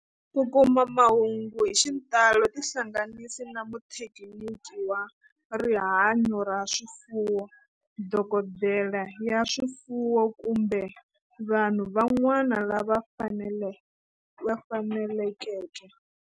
Ku kuma mahungu hi xitalo tihlanganisi na muthekiniki wa rihanyo ra swifuwo, dokodela ya swifuwo, kumbe vanhu van'wana lava fanelekeke.